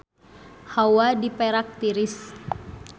Hawa di Perak tiris